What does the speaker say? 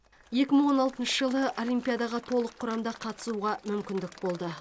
екі мың он алтыншы жылы олимпиадаға толық құрамда қатысуға мүмкіндік болды